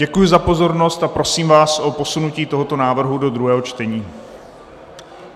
Děkuji za pozornost a prosím vás o posunutí tohoto návrhu do druhého čtení.